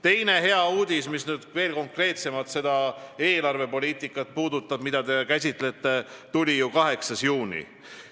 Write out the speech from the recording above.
Teine hea uudis, mis veel konkreetsemalt puudutab eelarvepoliitikat, mida te käsitlete, tuli ju 8. juunil.